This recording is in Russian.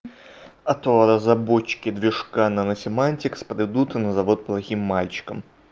а то разработчики движка на мотемантекс подойдут вот к плохим мальчиком